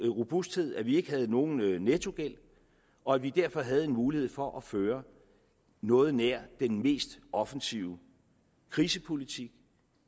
robusthed at vi ikke havde nogen nettogæld og at vi derfor havde en mulighed for at føre noget nær den mest offensive krisepolitik